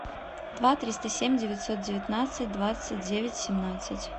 два триста семь девятьсот девятнадцать двадцать девять семнадцать